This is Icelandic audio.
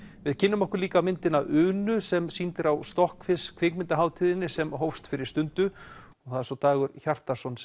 við kynnum okkur líka myndina Unu sem sýnd er á kvikmyndahátíðinni sem hófst fyrir stundu og Dagur Hjartarson